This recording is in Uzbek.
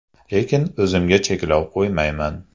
Lekin o‘zimga cheklov qo‘ymayman.